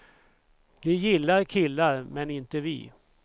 Det gillar killar men inte vi.